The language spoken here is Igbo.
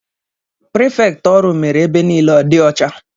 Prefkt ọrụ mere ebe nile ọ dị icha